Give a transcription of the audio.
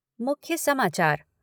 मुख्य समाचार